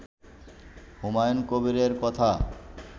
হুমায়ুন কবিরের কথা